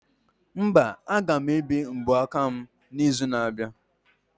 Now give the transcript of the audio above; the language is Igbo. Mba, aga m ebe mbọ aka m na izu na abịa